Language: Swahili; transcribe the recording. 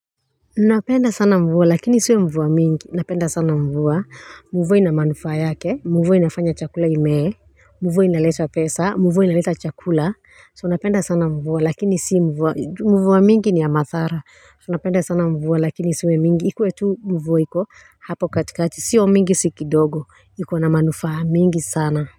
Napenda sana mvua lakini sio mvua mingi. Napenda sana mvua mvua ina manufaa yake mvua inafanya chakula imee mvua inaleta pesa, mvua inaleta chakula, so napenda sana mvua lakini si mvua, juu mvua mingi ni ya madhara, tunapenda sana mvua lakini isiwe mingi ikue tu mvua iko hapo katikati, sio mingi, si kidogo, ikona manufaa mingi sana.